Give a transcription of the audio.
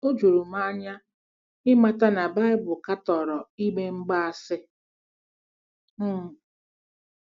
O juru m anya ịmata na Baịbụl katọrọ ime ime mgbaasị. um